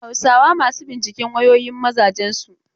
Akwai matan Hausawa masu binciken wayoyin mazajen su.